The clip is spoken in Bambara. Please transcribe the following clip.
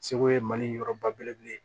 Segu ye mali yɔrɔ ba belebele ye